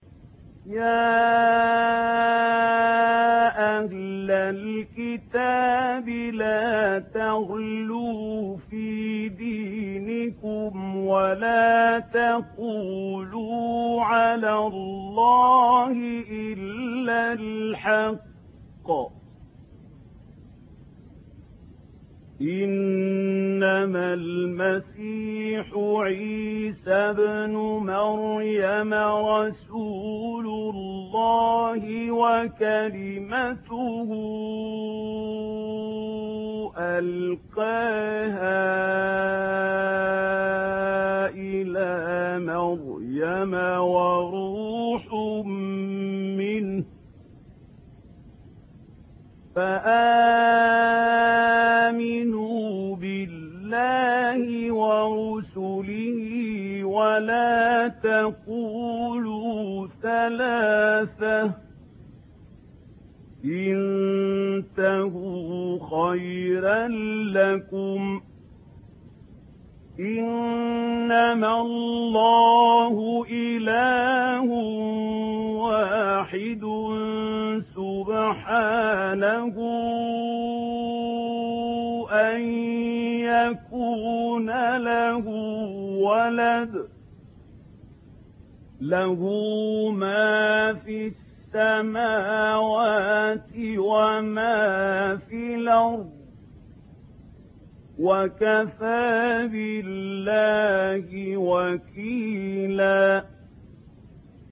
يَا أَهْلَ الْكِتَابِ لَا تَغْلُوا فِي دِينِكُمْ وَلَا تَقُولُوا عَلَى اللَّهِ إِلَّا الْحَقَّ ۚ إِنَّمَا الْمَسِيحُ عِيسَى ابْنُ مَرْيَمَ رَسُولُ اللَّهِ وَكَلِمَتُهُ أَلْقَاهَا إِلَىٰ مَرْيَمَ وَرُوحٌ مِّنْهُ ۖ فَآمِنُوا بِاللَّهِ وَرُسُلِهِ ۖ وَلَا تَقُولُوا ثَلَاثَةٌ ۚ انتَهُوا خَيْرًا لَّكُمْ ۚ إِنَّمَا اللَّهُ إِلَٰهٌ وَاحِدٌ ۖ سُبْحَانَهُ أَن يَكُونَ لَهُ وَلَدٌ ۘ لَّهُ مَا فِي السَّمَاوَاتِ وَمَا فِي الْأَرْضِ ۗ وَكَفَىٰ بِاللَّهِ وَكِيلًا